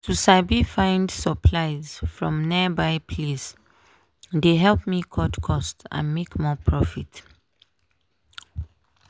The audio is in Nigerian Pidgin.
to sabi find supplies from nearby place dey help me cut cost and make more profit.